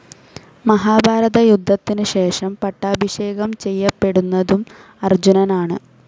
മഹാഭാരത യുദ്ധത്തിന് ശേഷം പട്ടാഭിഷേകം ചെയ്യപ്പെടുന്നതും അർജുനനാണ്.